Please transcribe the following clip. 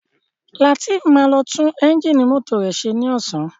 Latif má lo tun Ẹ́ńjìnì mọ́tò rẹ ṣe ní Ọ̀sán